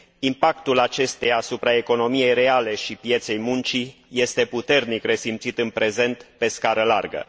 impactul acesteia asupra economiei reale și pieței muncii este puternic resimțit în prezent pe scară largă.